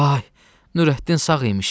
Vay, Nurəddin sağ imiş!